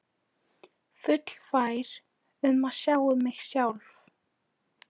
Fullfær um að sjá um mig sjálf.